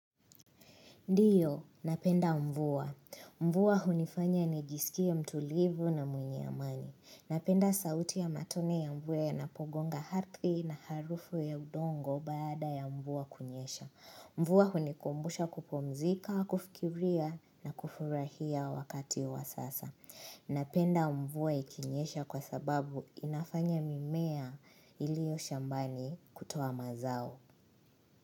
Ndiyo, napenda mvua. Mvua hunifanya nijisikia mtulivu na mwenye amani. Napenda sauti ya matone ya mvua yanapogonga hardhi na harufu ya udongo baada ya mvua kunyesha. Mvua hunikumbusha kupumzika, kufikiria na kufurahia wakati wa sasa. Napenda mvua ikinyesha kwa sababu inafanya mimea iliyo shambani kutoa mazao.